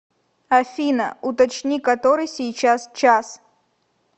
афина уточни который сейчас час